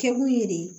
Kɛkun ye de